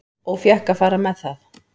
Og fékk að fara með það.